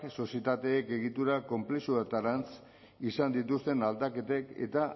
sozietateek egitura konplexutarantz izan dituzten aldaketek eta